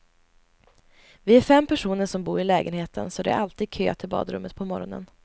Vi är fem personer som bor i lägenheten så det är alltid kö till badrummet på morgonen.